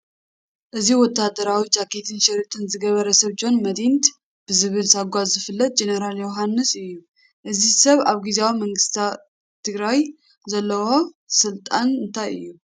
እዚ ወታደራዊ ጃኬትን ሽርጥን ዝገበረ ሰብ ጆን መዲድ ብዝብል ሳጓ ዝፍለጥ ጀነራል ዮሃንስ እዩ፡፡ እዚ ሰብ ኣብ ግዚያዊ መንግስቲ ትግራይ ዘለዎ ስልጣን እንታይ እዩ?